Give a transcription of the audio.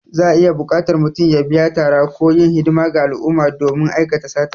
Za'a iya buƙatar mutum ya biya tara ko yin hidimar ga al'umma don aikata sata.